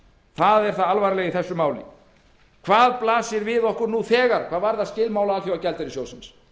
það er það alvarlega í þessu máli hvað blasir við okkur nú þegar hvað varðar skilmála alþjóðagjaldeyrissjóðsins